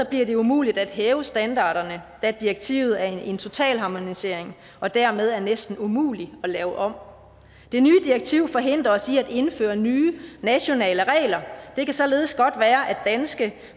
bliver det umuligt at hæve standarderne da direktivet er en totalharmonisering og dermed er næsten umulig at lave om det nye direktiv forhindrer os i at indføre nye nationale regler det kan således godt være at danske